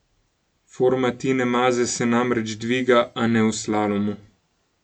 Forma Tine Maze se namreč dviga, a ne v slalomu.